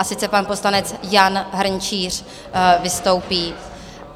A sice pan poslanec Jan Hrnčíř vystoupí.